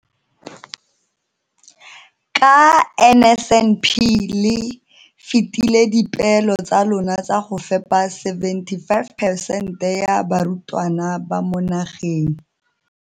ka NSNP le fetile dipeelo tsa lona tsa go fepa 75 percent ya barutwana ba mo nageng.